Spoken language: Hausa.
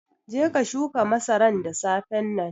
Je ka shuka masaran da safen nan.